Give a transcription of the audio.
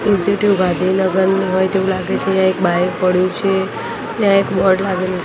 ગાંધીનગરની હોય તેવુ લાગે છે એક બાઇક પડ્યું છે ને એક બોર્ડ લાગેલું છે.